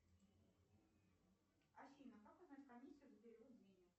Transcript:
афина как узнать комиссию за перевод денег